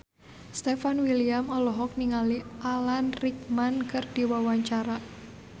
Stefan William olohok ningali Alan Rickman keur diwawancara